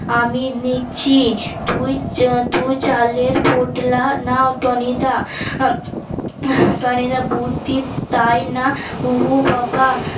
আমি নিচ্ছি তুই তুই চালের পোটলা নাও টনিদা আহ টনিদা বুদ্ধি তাই না উহ বাবা